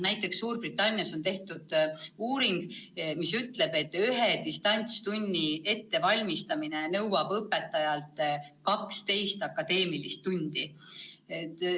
Näiteks Suurbritannias on tehtud uuring, mis ütleb, et ühe distantstunni ettevalmistamine nõuab õpetajalt 12 akadeemilist tundi.